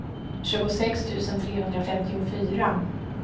tjugosex tusen trehundrafemtiofyra